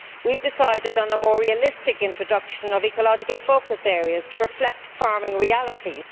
We have decided on a more realistic introduction of ecological focus areas to reflect farming realities.